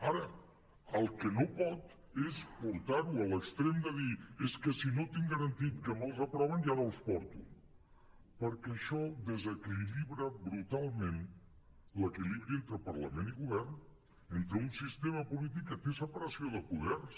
ara el que no pot és portar ho a l’extrem de dir és que si no tinc garantit que me’ls aproven ja no els porto perquè això desequilibra brutalment l’equilibri entre parlament i govern entre un sistema polític que té separació de poders